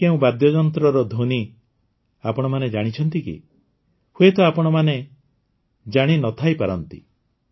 ଏହା କେଉଁ ବାଦ୍ୟଯନ୍ତ୍ରର ଧ୍ୱନି ଆପଣମାନେ ଜାଣିଛନ୍ତି କି ହୁଏତ ଆପଣ ଜାଣିନଥାଇପାରନ୍ତି